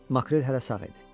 Makrel hələ sağ idi.